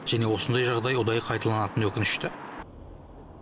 және осындай жағдай ұдайы қайталанатыны өкінішті